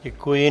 Děkuji.